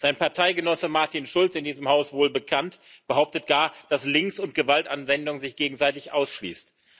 Sein Parteigenosse Martin Schulz in diesem Haus wohlbekannt behauptet gar, dass Links und Gewaltanwendung sich gegenseitig ausschließt.